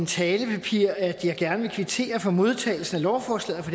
talepapir at jeg gerne vil kvittere for modtagelsen af lovforslaget